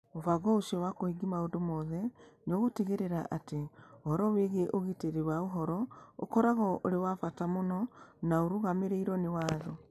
Mũbango ũcio wa kũhingia maũndũ mothe nĩ ũgũtigĩrĩra atĩ ũhoro wĩgiĩ ũgitĩri wa ũhoro ũkoragwo ũrĩ wa bata mũno na ũrũgamĩrĩirũo nĩ watho.